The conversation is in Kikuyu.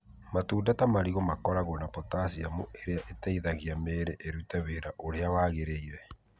Matunda ta marigũ makoragwo na potassium ĩrĩa ĩteithagia mĩĩrĩ ĩrute wĩra ũrĩa wagĩrĩire.